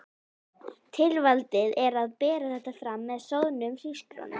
Tilvalið er að bera þetta fram með soðnum hrísgrjón um.